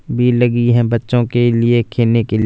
भीड़ लगी है बच्चों के लिए खेलने के --